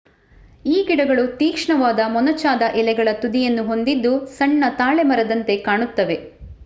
ಈ ಗಿಡಗಳು ತೀಕ್ಷ್ಣವಾದ ಮೊನಚಾದ ಎಲೆಗಳ ತುದಿಯನ್ನು ಹೊಂದಿದ್ದು ಸಣ್ಣ ತಾಳೆ ಮರದಂತೆ ಕಾಣುತ್ತವೆ